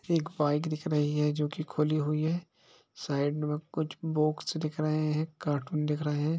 एक बाइक दिख रही है जो कि खुली हुई है साइड में कुछ बोक्स दिख रहे हैं कार्टून दिख रहे हैं।